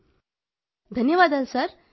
ధన్యవాదాలు సార్ ధన్యవాదాలు సార్